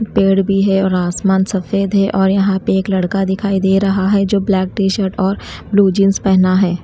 पेड़ भी है और आसमान सफेद है और यहाँ पे एक लड़का दिखाई दे रहा है जो ब्लैक टी-शर्ट और ब्लू जींस पहना है ।